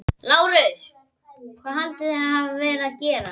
LÁRUS: Hvað haldið þér að ég hafi verið að gera?